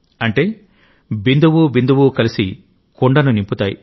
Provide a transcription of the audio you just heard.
అంటే బిందువు బిందువు కలిసి కుండను నింపుతాయి